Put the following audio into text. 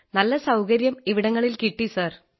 നല്ല സൌകര്യം ഇവിടങ്ങളിൽ കിട്ടി സാർ